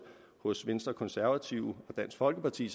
hos venstre og konservative og dansk folkeparti